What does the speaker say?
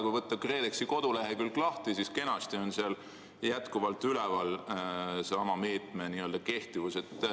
Kui võtta KredExi kodulehekülg lahti, siis seal on kenasti sama meede jätkuvalt üleval.